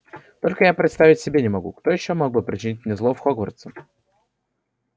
только я представить себе не могу кто ещё мог бы причинить мне зло в хогвартсе